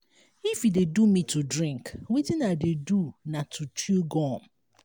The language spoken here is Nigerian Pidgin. if e dey do me to drink wetin i dey do na to chew gum